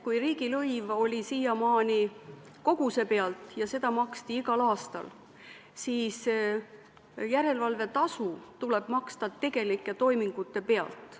Kui riigilõiv oli siiamaani koguse pealt ja seda maksti igal aastal, siis järelevalvetasu tuleb maksta tegelike toimingute pealt.